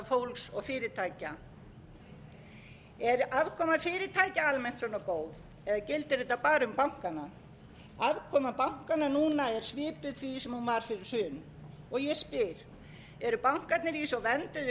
fólks og fyrirtækja er afkoma fyrirtækja almennt svona góð eða gildir þetta bara um bankana afkoma bankanna núna er svipuð því sem hún var fyrir hrun og ég spyr eru bankarnir í svo vernduðu umhverfi að samdrátturinn sem